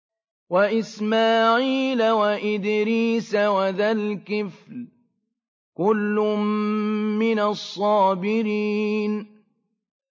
وَإِسْمَاعِيلَ وَإِدْرِيسَ وَذَا الْكِفْلِ ۖ كُلٌّ مِّنَ الصَّابِرِينَ